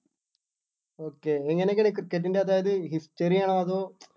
okay എങ്ങനേ എങ്ങനെ cricket ൻ്റെ അതായത് history ആണോ അതോ